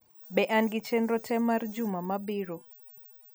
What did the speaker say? be an gi chenro te mar juma mabiro